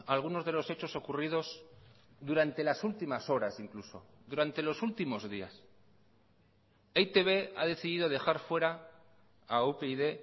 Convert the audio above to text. algunos de los hechos ocurridos durante las últimas horas incluso durante los últimos días e i te be ha decidido dejar fuera a upyd